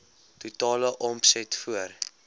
totale omset voor